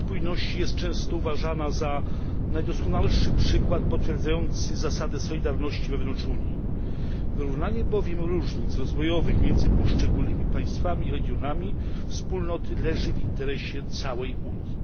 Polityka spójności jest często uważana za najdoskonalszy przykład potwierdzający zasadę solidarności wewnątrz Unii. Wyrównanie bowiem różnic rozwojowych między poszczególnymi państwami i regionami Wspólnoty leży w interesie całej Unii.